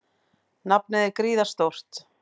Nafnið er gríðarstórt.